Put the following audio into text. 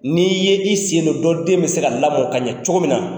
N'i ye i sen don dɔ den bɛ se ka lamɔ ka ɲɛ cogo min na.